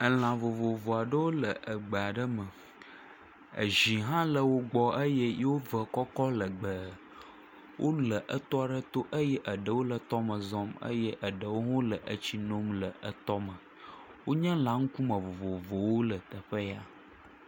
Elã vovovowo aɖewo le egbe aɖe me, ezi hã le wo gbɔ eye wòve kɔkɔ legbee. Wole etɔ aɖe to eye eɖewo hã le etɔ me zɔm eye eɖewo hã le etsi num le etɔ me. Wonye elã ŋkume vovovowo le teƒe ya.